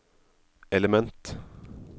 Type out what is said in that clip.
element